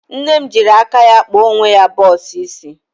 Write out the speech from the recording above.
Nne m jịrị aka ya kpa onwe ya bọx isi.